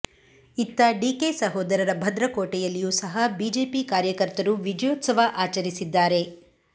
ಇತ್ತ ಡಿಕೆ ಸಹೋದರರ ಭದ್ರಕೋಟೆಯಲ್ಲಿಯೂ ಸಹ ಬಿಜೆಪಿ ಕಾರ್ಯಕರ್ತರು ವಿಜಯೋತ್ಸವವ ಆಚರಿಸಿದ್ದಾರೆ